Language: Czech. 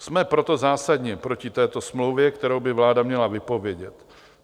Jsme proto zásadně proti této smlouvě, kterou by vláda měla vypovědět.